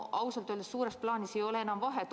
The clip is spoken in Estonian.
Ausalt öeldes suures plaanis ei ole enam vahet.